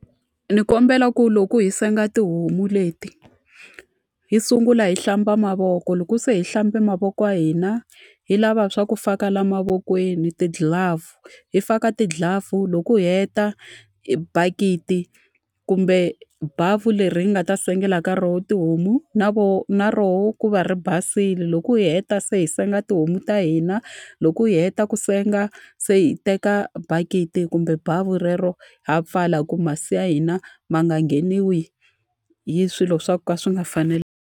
Ni kombela ku loko hi senga tihomu leti hi sungula hi hlamba mavoko, loko se hi hlambe mavoko ma hina hi lava swa ku faka laha mavokweni ti-glove. Hi faka ti-glove loko hi heta bakiti kumbe bavhu leri hi nga ta sengela nkarhi wo tihomu na na rona ri va ri basile. Loko hi heta se hi senga tihomu ta hina, loko hi heta ku senga se hi teka bakiti kumbe bavhu relero ha pfala ku masi ya hina ma nga ngheniwi hi swilo swa ka swi nga fanelangi.